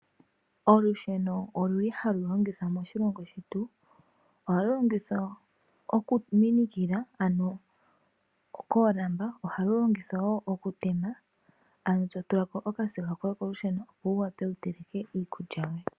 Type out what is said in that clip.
Olusheno oluli halu longithwa moshilongo shetu. Ohalu longithwa oku minikila ano koolamba, ohalu longithwa woo oku tema, ano to tula ko okasiga koye kolusheno, opo wu wape wu teleke.